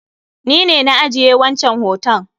Ni ne na ajiye wancan hoton